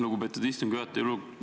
Lugupeetud istungi juhataja!